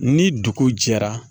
Ni dugu jɛra